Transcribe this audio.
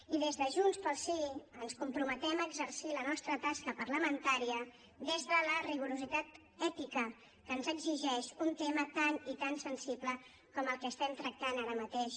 i des de junts pel sí ens comprometem a exercir la nostra tasca parlamentària des del rigor ètic que ens exigeix un tema tan i tan sensible com el que estem tractant ara mateix